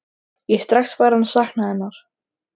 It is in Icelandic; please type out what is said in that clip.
Ég er strax farinn að sakna hennar.